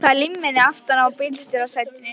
Það er límmiði aftan á bílstjórasætinu.